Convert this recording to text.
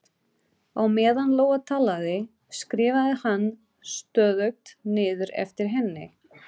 Á meðan Lóa talaði, skrifaði hann stöðugt niður eftir henni